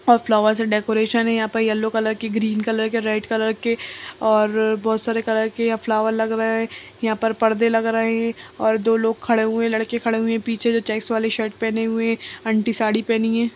हर flower से decoration है यहाँ पर येलो कलर की ग्रीन कलर की रेड कलर की और बहोत सारे कलर के यहाँ पर फ़्लोएर लगे हुए हैं यहाँ पर पर्दे लग रहें हैं और दो लोग खड़े हुए हैं लड़के खड़े हुए हैं पीछे चेकक्स वाले शर्ट पहने हुए हैं आंटी साड़ी पहनी है।